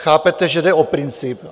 Chápete, že jde o princip?